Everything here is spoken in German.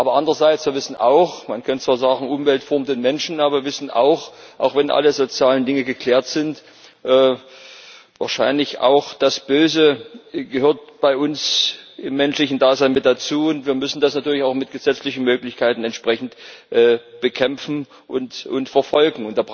Aber andererseits wissen wir auch Man kann zwar sagen, Umwelt formt den Menschen, aber auch wenn alle sozialen Dinge geklärt sind, gehört wahrscheinlich auch das Böse bei uns zum menschlichen Dasein mit dazu, und wir müssen das natürlich auch mit gesetzlichen Möglichkeiten entsprechend bekämpfen und verfolgen.